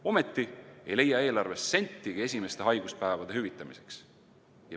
Ometi ei leia eelarvest sentigi esimeste haiguspäevade hüvitamiseks.